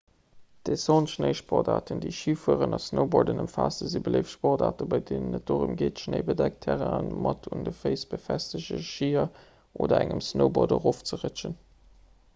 descenteschnéisportaarten déi schifueren a snowboarden ëmfaassen si beléift sportaarten bei deenen et dorëm geet schnéibedeckt terrainen mat un de féiss befestegte schier oder engem snowboard erofzerëtschen